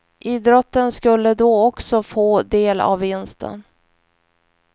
Idrotten skulle då också få del av vinsten.